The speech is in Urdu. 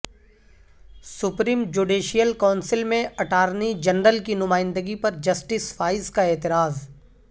سپریم جوڈیشل کونسل میں اٹارنی جنرل کی نمائندگی پر جسٹس فائز کا اعتراض